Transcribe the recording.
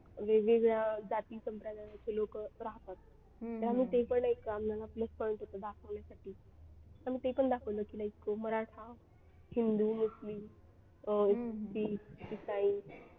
वेगवेगळ्या जाती संप्रदायाचे लोक राहतात आणि ते पण एक होतं दाखवण्यासाठी आणि ते पण दाखवलं की like मराठा हिंदू मुस्लिम अं शिख ईसाई